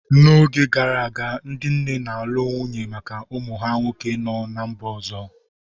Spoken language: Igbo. N'oge gara aga, ndị nne na-alụ nwunye maka ụmụ ha nwoke no ná mba ọzọ.